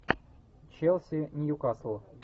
челси ньюкасл